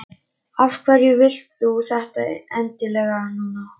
Af hverju vilt þú þetta endilega núna?